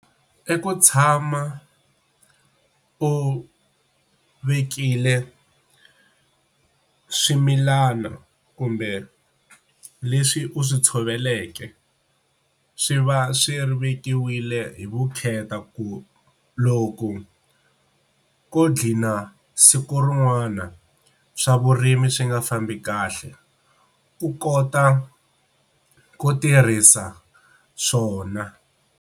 I ku tshama u vekile swimilana kumbe leswi u swi tshoveleke swi va swi vekiwile hi vukheta ku loko ko gqina siku rin'wana swa vurimi swi nga fambi kahle u kota ku tirhisa swona.